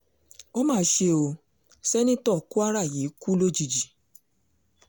ó mà ṣe ó sènítọ́ kwara yìí kú lójijì